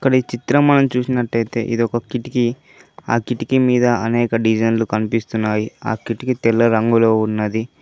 ఇక్కడ ఈ చిత్రం మనం చూసినట్టయితే ఇదొక కిటికి ఆ కిటికి మీద అనేక డిజైన్లు కనిపిస్తున్నాయి ఆ కిటికి తెల్ల రంగులో ఉన్నది.